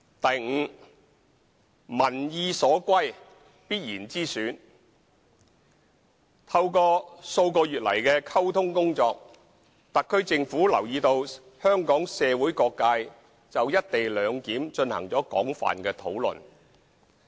e 民意所歸必然之選透過數個月來的溝通工作，特區政府留意到香港社會各界就"一地兩檢"進行了廣泛的討論。